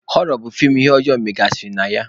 Họrọ bụ feem ihe ụjọ megasịrị na ya.